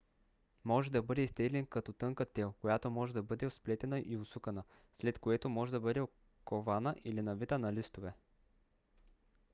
може да бъде изтеглен като тънка тел която може да бъде сплетена и усукана след което може да бъде кована или навита на листове